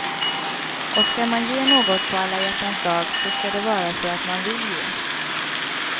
Och ska man ge något på alla hjärtans dag så ska det vara för att man vill ge.